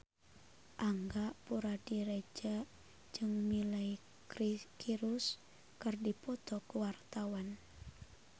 Angga Puradiredja jeung Miley Cyrus keur dipoto ku wartawan